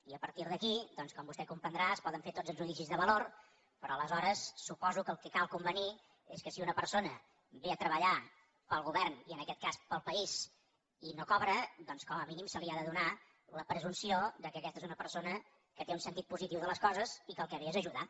i a partir d’aquí doncs com vostè comprendrà es poden fer tots els judicis de valor però aleshores suposo que el que cal convenir és que si una persona ve a treballar per al govern i en aquest cas per al país i no cobra doncs com a mínim se li ha de donar la presumpció que aquesta és una persona que té un sentit positiu de les coses i que el que ve és a ajudar